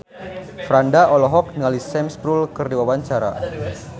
Franda olohok ningali Sam Spruell keur diwawancara